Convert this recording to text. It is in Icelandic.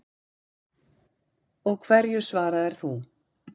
Og hverju svaraðir þú?